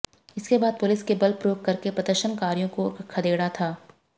इसके बाद पुलिस ने बल प्रयोग करके प्रदर्शनकारियों को खदेड़ा था